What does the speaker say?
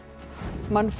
mannfrekar